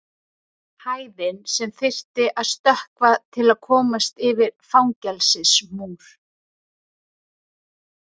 Hæðin sem þyrfti að stökkva til að komast yfir fangelsismúr.